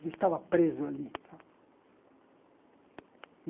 Ele estava preso ali tal.